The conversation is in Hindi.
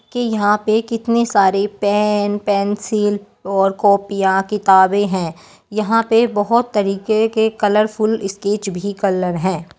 के यहाँ पे कितने सारे पेन पेंसिल और कॉपियां किताबे हैं| यहाँ पे बहुत तरीके के कलरफुल स्केच भी कलर हैं।